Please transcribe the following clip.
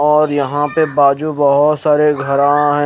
और यहा पे बाजु बहोत सारे घरा है।